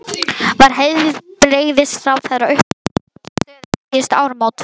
En var heilbrigðisráðherra upplýstur um þessa stöðu um síðustu áramót?